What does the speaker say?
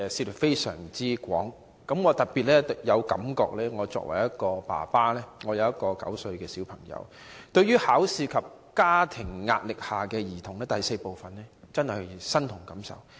我是個有一名9歲小孩的爸爸，對於報告中關於"在考試及家課壓力下的兒童"的第 IV 部，我真的感同身受。